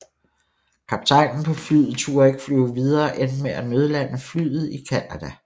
Kaptajnen på flyet turde ikke flyve videre og endte med at nødlande flyet i Canada